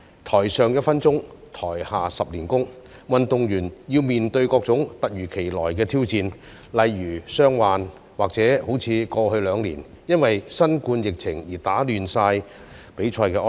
"台上一分鐘，台下十年功"，運動員要面對各種突如其來的挑戰，例如傷患及過去兩年因新冠疫情而被打亂的比賽安排。